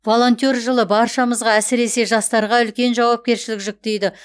волонтер жылы баршамызға әсіресе жастарға үлкен жауапкершілік жүктейді